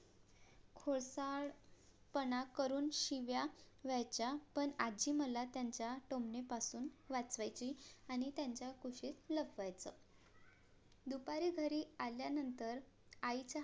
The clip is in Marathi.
कोळसार पना करून शिव्या देयचा पण आज्जी मला त्यांचा टोमण्यां पासून वाचवायची आणि त्यांचा खुशीत लपवायची दुपारी घरी आल्या नंतर आईचा